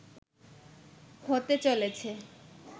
হতে চলেছে